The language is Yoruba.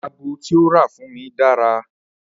Ago tí ó rà fún mi dára